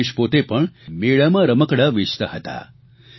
રમેશ પોતે પણ મેળામાં રમકડાં વેચતા હતા